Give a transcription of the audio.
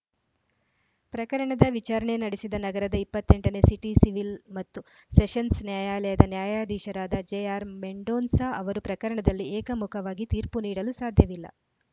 ಪ್ರಕರಣದ ವಿಚಾರಣೆ ನಡೆಸಿದ ನಗರದ ಇಪ್ಪತ್ತ್ ಎಂಟ ನೇ ಸಿಟಿ ಸಿವಿಲ್‌ ಮತ್ತು ಸೆಷನ್ಸ್‌ ನ್ಯಾಯಾಲಯದ ನ್ಯಾಯಾಧೀಶರಾದ ಜೆಆರ್‌ಮೆಂಡೋನ್ಸಾ ಅವರು ಪ್ರಕರಣದಲ್ಲಿ ಏಕ ಮುಖವಾಗಿ ತೀರ್ಪು ನೀಡಲು ಸಾಧ್ಯವಿಲ್ಲ